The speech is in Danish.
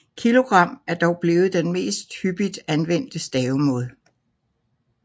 Kilogram er dog blevet den mest hyppigt anvendte stavemåde